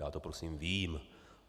Já to prosím vím.